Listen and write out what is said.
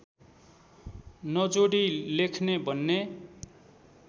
नजोडी लेख्ने भन्ने